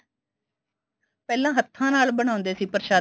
ਪਹਿਲਾਂ ਹੱਥਾ ਨਾਲ ਬਣਾਉਂਦੇ ਸੀ ਪ੍ਰਸ਼ਾਦੇ